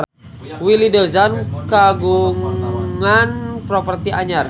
Willy Dozan kagungan properti anyar